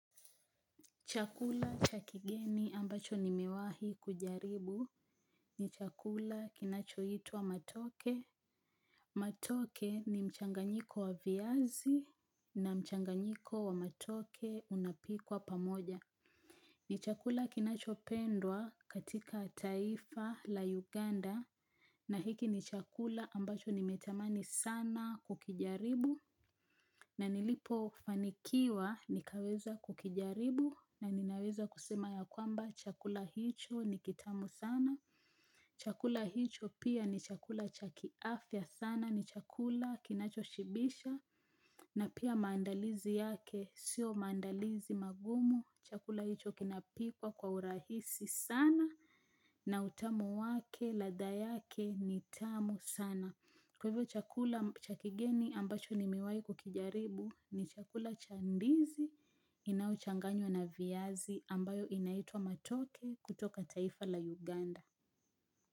Chakula cha kigeni ambacho nimewahi kujaribu ni chakula kinachoitwa matoke Matoke ni mchanganyiko wa viazi na mchanganyiko wa matoke unapikwa pamoja. Ni chakula kinachopendwa katika taifa la Uganda na hiki ni chakula ambacho nimetamani sana kukijaribu. Na nilipofanikiwa nikaweza kukijaribu na ninaweza kusema ya kwamba chakula hicho ni kitamu sana Chakula hicho pia ni chakula cha kiafya sana. Ni chakula kinachoshibisha na pia maandalizi yake sio maandalizi magumu. Chakula hicho kinapikwa kwa urahisi sana na utamu wake, ladha yake ni tamu sana. Kwa hivyo chakula cha kigeni ambacho nimewahi kukijaribu ni chakula cha ndizi inayochanganywa na viazi ambayo inaitwa matoke kutoka taifa la Uganda.